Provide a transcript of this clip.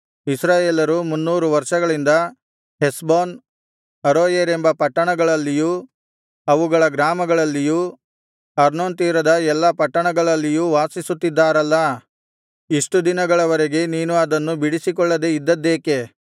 ಇಸ್ರಾಯೇಲರು ಮುನ್ನೂರು ವರ್ಷಗಳಿಂದ ಹೆಷ್ಬೋನ್ ಅರೋಯೇರ್ ಎಂಬ ಪಟ್ಟಣಗಳಲ್ಲಿಯೂ ಅವುಗಳ ಗ್ರಾಮಗಳಲ್ಲಿಯೂ ಅರ್ನೋನ್ ತೀರದ ಎಲ್ಲಾ ಪಟ್ಟಣಗಳಲ್ಲಿಯೂ ವಾಸಿಸುತ್ತಿದ್ದಾರಲ್ಲಾ ಇಷ್ಟು ದಿನಗಳವರೆಗೆ ನೀನು ಅದನ್ನು ಬಿಡಿಸಿಕೊಳ್ಳದೆ ಇದ್ದದ್ದೇಕೆ